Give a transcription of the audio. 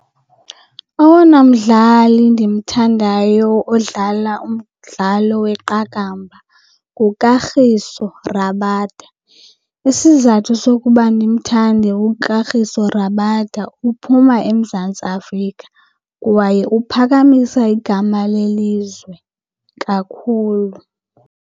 Owona mdlali ndimthandayo odlala umdlalo weqakamba nguKagiso Rabada. Isizathu sokuba ndimthande uKagiso Rabada uphuma eMzantsi Afrika kwaye uphakamisa igama lelizwe kakhulu.